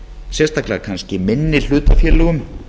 sérstaklega kannski minni hlutafélögum